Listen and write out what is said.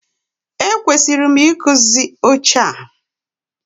E kwesịrị m ị kụzi oche a.